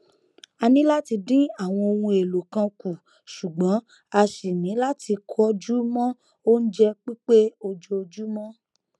a ni láti dín àwọn ohun èlò kan kù ṣùgbọn a ṣì ní láti kọjú mọ oúnjẹ pípé ojoojúmọ